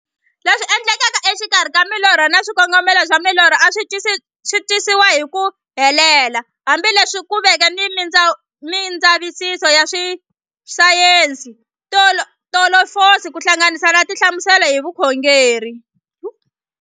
Leswi endlekaka e xikarhi ka milorho na xikongomelo xa milorho a swisi twisisiwa hi ku helela, hambi leswi ku veke na mindzavisiso ya sayensi, filosofi ku hlanganisa na tinhlamuselo hi vukhongori.